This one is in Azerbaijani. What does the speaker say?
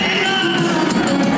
Heydər!